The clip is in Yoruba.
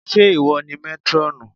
Ṣé ìwọ ni métrọ́ọ̀nù?